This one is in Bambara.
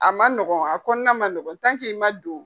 A ma nɔgɔn a kɔnɔna man nɔgɔn i ma don.